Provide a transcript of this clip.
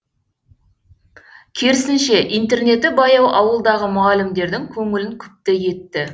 керісінше интернеті баяу ауылдағы мұғалімдердің көңілін күпті етті